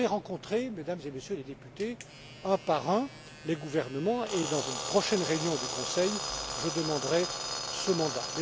Je vais rencontrer, Mesdames et Messieurs les députés, un par un, les gouvernements, et dans une prochaine réunion du Conseil, je demanderai ce mandat.